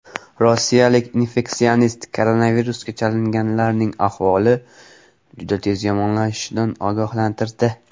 Rossiyalik infeksionist koronavirusga chalinganlarning ahvoli juda tez yomonlashishidan ogohlantirdi.